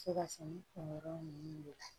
Se ka sɛnɛ kunkɛyɔrɔ ninnu de la